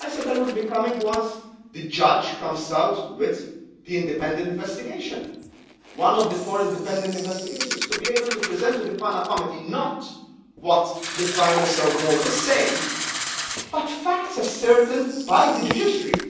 I said I would be coming once the judge comes out with the independent investigation one of the four independent investigations to be able to present to the PANA Committee not what the Prime Minister of Malta is saying, but facts ascertained by the judiciary.